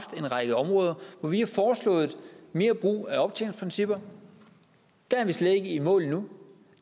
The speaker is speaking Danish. en række områder hvor vi har foreslået mere brug af optjeningsprincipper der er vi slet ikke i mål endnu